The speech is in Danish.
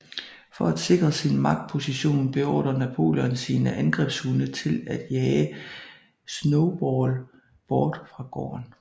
For at sikre sin magtposition beordrer Napoleon sine angrebshunde til at jage Snowball bort fra gården